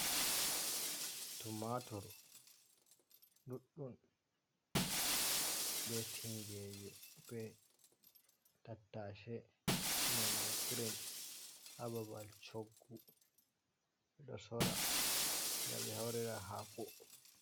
Tumatur ɗuɗɗum be tingeeje be tattase nonde green ha babal choggu ɗo sora nga ɓe haurira haako.